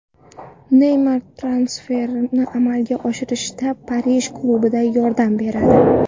Neymar transferni amalga oshirishda Parij klubiga yordam beradi.